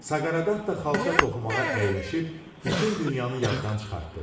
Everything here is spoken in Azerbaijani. Saqarat da xalça toxumağa əyləşib bütün dünyanı yaddan çıxartdı.